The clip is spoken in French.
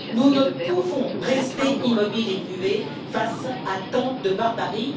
Nous ne pouvons rester immobiles et muets face à tant de barbarie.